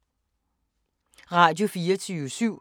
Radio24syv